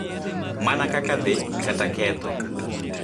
Mana kaka dhi kata ketho,